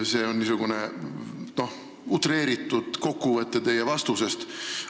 See on utreeritud kokkuvõte teie vastusest.